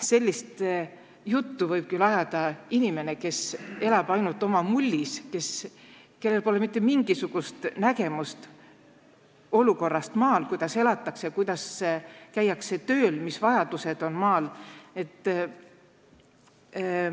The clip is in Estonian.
Sellist juttu võib küll ajada inimene, kes elab ainult oma mullis, kellel pole mitte mingisugust nägemust olukorrast maal, sellest, kuidas elatakse, kuidas tööl käiakse ja mis vajadused seal on.